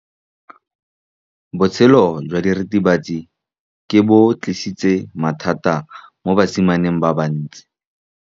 Botshelo jwa diritibatsi ke bo tlisitse mathata mo basimaneng ba bantsi.